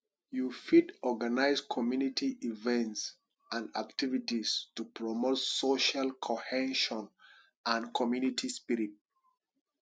you fit organize community events and activities to promote social cohesion and community spirit